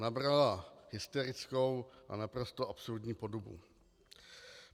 Nabrala hysterickou a naprosto absurdní podobu.